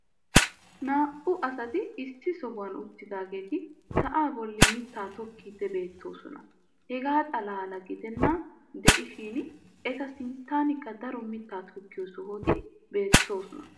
naa'u asati issi sohuwan uttidaageeti sa"aa boli mitaa tokkiidi beetoosona. hegaa xalaala giddenan diishshin eta sinttankka daro mitaa tokkiyo sohoti beetoosona.